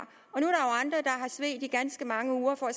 svedt i ganske mange uger for at